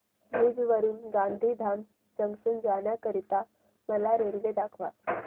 भुज वरून गांधीधाम जंक्शन जाण्या करीता मला रेल्वे दाखवा